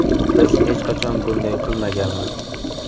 Biz hech qachon bunday qilmaganmiz.